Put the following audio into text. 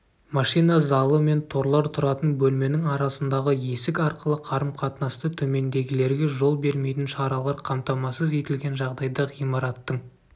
машина залы мен торлар тұратын бөлменің арасындағы есік арқылы қарым-қатынасты төмендегілерге жол бермейтін шаралар қамтамасыз етілген жағдайда ғимараттың